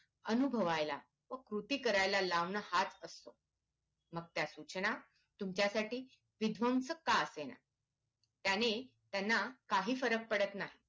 अनुभवायला व कृती करायला लावणं हाच असतो मग त्या सूचना तुमच्यासाठी विध्वंसक का असेना त्याने त्यांना काही फरक पडत नाही